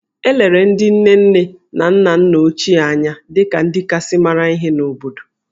E lere ndị nne nne na nna nna ochie anya dị ka ndị kasị mara ihe n’obodo